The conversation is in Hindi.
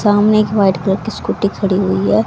सामने एक वाइट कलर की स्कूटी खड़ी हुई है।